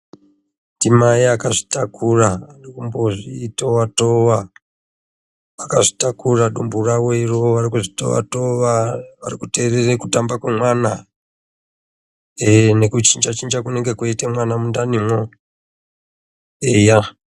Ndimai akazvitakura arikuzvikutova tova kuti anzwe kutamba tamba ,kunoita mwana nekuchinja chinja kunoita mwana mundanimwo. Eya